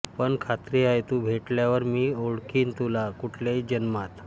पण खात्री आहे तू भेटल्यावर मी ओळखीन तुला कुठल्याही जन्मात